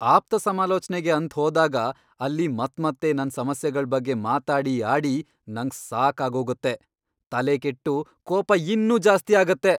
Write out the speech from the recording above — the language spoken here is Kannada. ಆಪ್ತಸಮಾಲೋಚ್ನೆಗೆ ಅಂತ್ ಹೋದಾಗ ಅಲ್ಲಿ ಮತ್ಮತ್ತೆ ನನ್ ಸಮಸ್ಯೆಗಳ್ ಬಗ್ಗೆ ಮಾತಾಡಿ ಆಡಿ ನಂಗ್ ಸಾಕಾಗೋಗತ್ತೆ, ತಲೆ ಕೆಟ್ಟು ಕೋಪ ಇನ್ನೂ ಜಾಸ್ತಿ ಆಗತ್ತೆ.